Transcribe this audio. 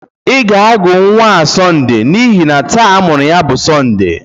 Ị ga-agụ nnwa a Sonde n'ihi na taa amụrụ ya bu Sonde!